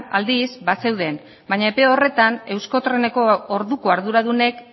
aldiz bazeuden baina epe horretan euskotreneko orduko arduradunek